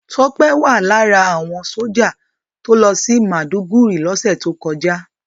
Tọ́pé wà lára àwọn sójà tó lọ sí Màdúgùri lọ́sẹ̀ tó kọjá